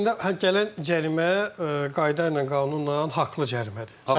Əslində gələn cərimə qayda ilə, qanunla haqlı cərimədir.